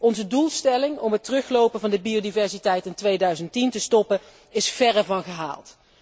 Onze doelstelling om het teruglopen van de biodiversiteit in 2010 te stoppen is verre van gehaald.